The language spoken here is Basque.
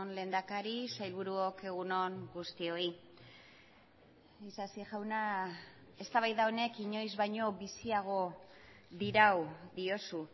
lehendakari sailburuok egun on guztioi isasi jauna eztabaida honek inoiz baino biziago dirau diozu